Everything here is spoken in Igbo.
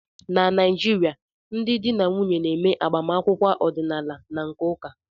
Na Naịjirịa, ndị di na nwunye na-eme agbamakwụkwọ ọdịnaala na nke ụka